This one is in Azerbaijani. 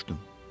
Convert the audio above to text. soruşdum.